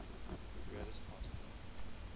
greatest pass play